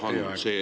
Teie aeg!